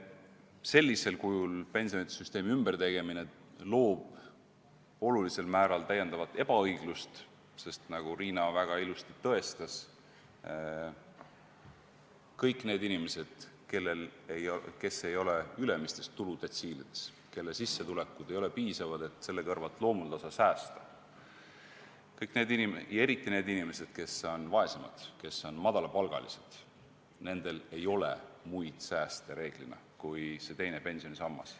Sellisel kujul pensionisüsteemi ümbertegemine tekitab olulisel määral täiendavat ebaõiglust, sest, nagu Riina väga ilusti tõestas, kõik need inimesed, kes ei ole ülemistes tuludetsiilides, kelle sissetulekud ei ole piisavad, et regulaarselt säästa, eriti muidugi need inimesed, kes on vaesemad, kes saavad madalat palka – nendel ei ole reeglina muid sääste kui see teine pensionisammas.